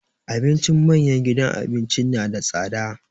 Abincin manyan gidan abinci na da tsada.